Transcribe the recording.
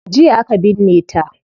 Jiya aka binne ta